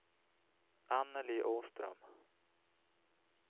Anneli Åström